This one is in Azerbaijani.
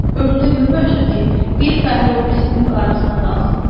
Ömrümdə görməmişəm ki, bir fəhlə o birisinin qayğısına qalsın.